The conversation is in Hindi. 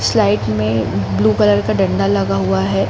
स्लाइड में ब्लू कलर का डंडा लगा हुआ है।